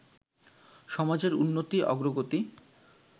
সমাজের উন্নতি, অগ্রগতি